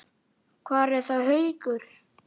Hvar er þá Haukur?